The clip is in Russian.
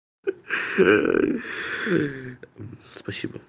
спасибо